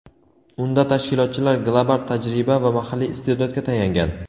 unda tashkilotchilar global tajriba va mahalliy iste’dodga tayangan.